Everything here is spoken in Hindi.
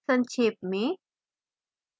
संक्षेप में